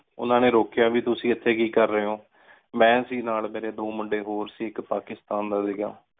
ਓਹਨਾ ਨੀ ਰੋਕ੍ਯਾ ਵੀ ਤੁਸੀਂ ਏਥੀ ਕੀ ਕਰ ਰਏ ਹੋ? ਮੇਂ ਸੀ ਨਾਲ ਮੇਰੀ ਦੋ ਮੁੰਡੀ ਹੋਰ ਸੀ ਇਕ ਪਾਕਿਸਤਾਨ ਦਾ ਸੀਗਾ।